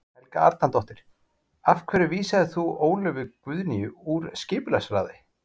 Helga Arnardóttir: Af hverju vísaðir þú Ólöfu Guðnýju úr skipulagsráði?